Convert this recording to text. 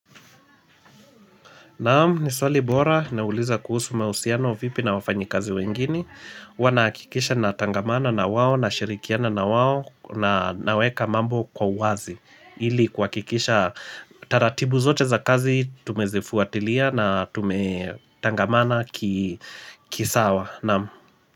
Naamu, ni swali bora, nauliza kuhusu mausiano vipi na wafanyi kazi wengine. Wanakikisha na tangamana na wawo, na shirikiana na wawo, na naweka mambo kwa wazi Ili kwa kikisha, taratibu zote za kazi tumezifuatilia na tume tangamana kisawa Naam.